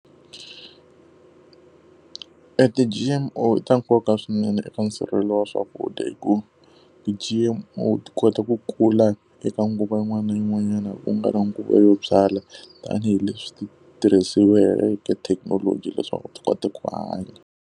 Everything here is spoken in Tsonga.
E ti-G_M_O i ta nkoka swinene eka nsirhelelo wa swakudya hikuva ti-G_M_O ti kota ku kula eka nguva yin'wana na yin'wanyana ku nga ri nguva yo byala, tanihileswi ti tirhiseriweke thekinoloji leswaku ti kota ku hanya.